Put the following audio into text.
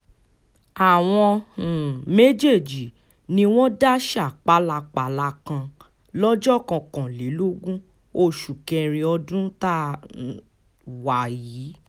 àwọn um méjèèjì ni wọ́n dáṣà pálapàla kan lọ́jọ́ kọkànlélógún oṣù kẹrin ọdún tá um a wà yìí